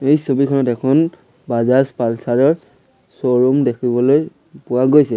এই ছবিখনত এখন বাজাজ পালচাৰ ৰ শ্ব'ৰূম দেখিবলৈ পোৱা গৈছে।